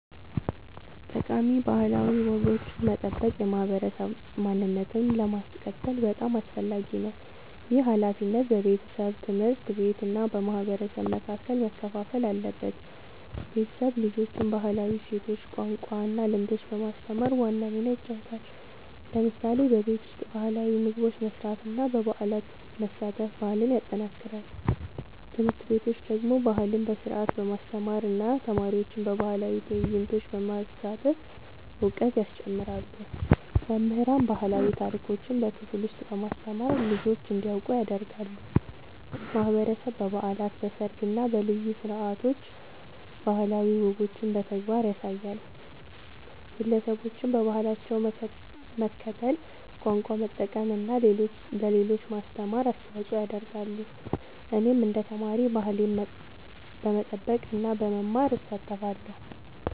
ጠቃሚ ባህላዊ ወጎችን መጠበቅ የማህበረሰብ ማንነትን ለማስቀጠል በጣም አስፈላጊ ነው። ይህ ሃላፊነት በቤተሰብ፣ ትምህርት ቤት እና በማህበረሰብ መካከል መከፋፈል አለበት። ቤተሰብ ልጆችን ባህላዊ እሴቶች፣ ቋንቋ እና ልምዶች በማስተማር ዋና ሚና ይጫወታል። ለምሳሌ በቤት ውስጥ ባህላዊ ምግቦች መስራት እና በበዓላት መሳተፍ ባህልን ያጠናክራል። ትምህርት ቤቶች ደግሞ ባህልን በስርዓት በማስተማር እና ተማሪዎችን በባህላዊ ትዕይንቶች በማሳተፍ እውቀት ያስጨምራሉ። መምህራን ባህላዊ ታሪኮችን በክፍል ውስጥ በማስተማር ልጆች እንዲያውቁ ያደርጋሉ። ማህበረሰብ በበዓላት፣ በሰርግ እና በልዩ ስነ-ስርዓቶች ባህላዊ ወጎችን በተግባር ያሳያል። ግለሰቦችም በባህላቸው መከተል፣ ቋንቋ መጠቀም እና ለሌሎች ማስተማር አስተዋጽኦ ያደርጋሉ። እኔም እንደ ተማሪ ባህሌን በመጠበቅ እና በመማር እሳተፋለሁ።